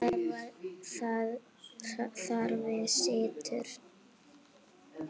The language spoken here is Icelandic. Þar við situr.